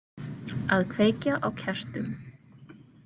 Að kveikja á kertum.